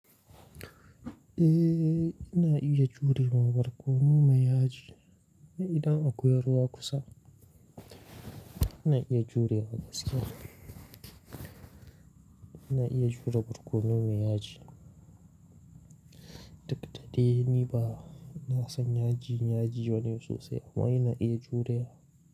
Eh, ina iya jurewa barkono mai yaji. Idan akwai ruwa kusa, ina iya jurewa gaske. Ina iya jure barkono mai yaji. Tlsuk dadai ni ba, na san yaji, yaji wane sosai amma ina iya jurewa.